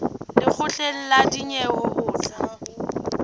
lekgotleng la dinyewe ho tla